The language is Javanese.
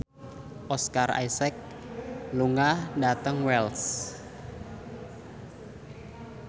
Oscar Isaac lunga dhateng Wells